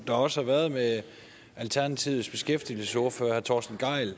der også har været med alternativets beskæftigelsesordfører herre torsten gejl